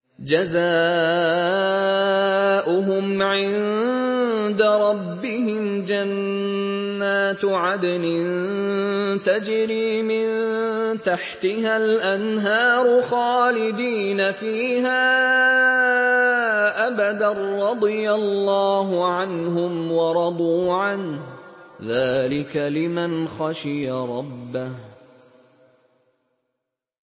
جَزَاؤُهُمْ عِندَ رَبِّهِمْ جَنَّاتُ عَدْنٍ تَجْرِي مِن تَحْتِهَا الْأَنْهَارُ خَالِدِينَ فِيهَا أَبَدًا ۖ رَّضِيَ اللَّهُ عَنْهُمْ وَرَضُوا عَنْهُ ۚ ذَٰلِكَ لِمَنْ خَشِيَ رَبَّهُ